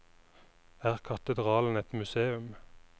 Er katedralen et museum?